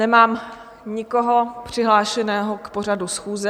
Nemám nikoho přihlášeného k pořadu schůze.